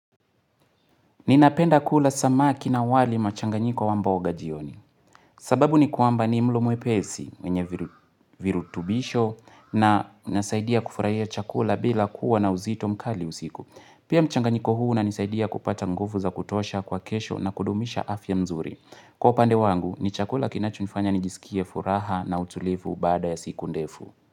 Ninapenda kula samaki na wali machanganyiko wa mboga jioni. Sababu ni kwamba ni mlo mwepesi, wenye virutubisho na inasaidia kufurahia chakula bila kuwa na uzito mkali usiku. Pia mchanganyiko huu unanisaidia kupata nguvu za kutosha kwa kesho na kudumisha afya nzuri. Kwa upande wangu, ni chakula kinachonifanya nijisikie furaha na utulivu baada ya siku ndefu.